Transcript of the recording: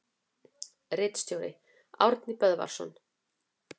Ritstjóri: Árni Böðvarsson.